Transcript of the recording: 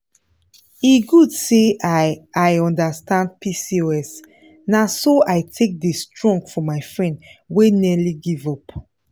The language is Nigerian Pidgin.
e good say i i understand pcos na so i take dey strong for my friend wey nearly give up.